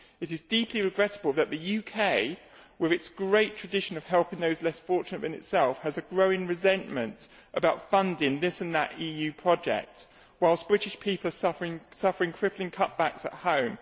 It is deeply regrettable that the UK, with its great tradition of helping those less fortunate than itself, has a growing resentment about funding this or that EU project while British people are suffering crippling cutbacks at home.